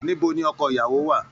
Níbo ní ọkọ ìyàwó wà?